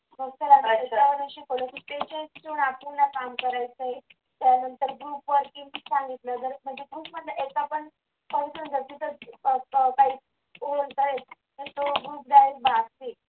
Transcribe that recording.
मग आम्हाला शिकवलं की त्याच्यावर आपण नाही काम करायचं. त्यानंतर तर मग group वरती मी त्यांना सांगितलं